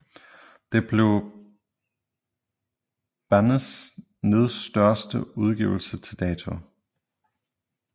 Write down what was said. Det blev bandets næststørste udgivelse til dato